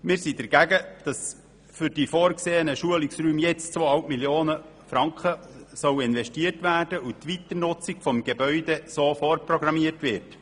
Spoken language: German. Wir sind dagegen, dass für die vorgesehenen Schulungsräume 2,5 Mio. Franken investiert werden, und die Weiternutzung des Gebäudes so vorprogrammiert wird.